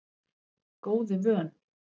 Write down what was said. Góðu vön